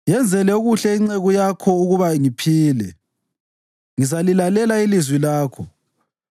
Yenzele okuhle inceku yakho ukuba ngiphile; ngizalilalela ilizwi lakho.